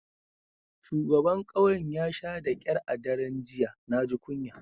Shugaban kauyen ya sha da kyar a daren jiya. Na ji kunya.